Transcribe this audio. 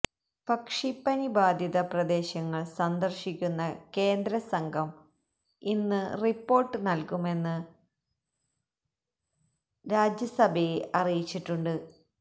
പക്ഷിപ്പനി ബാധിത പ്രദേശങ്ങള് സന്ദര്ശിക്കുന്ന കേന്ദ്ര സംഘം ഇന്ന് റിപ്പോര്ട്ട് നല്കുമെന്ന് നദ്ദ രാജ്യസഭയെ അറിയിച്ചിട്ടുണ്ട്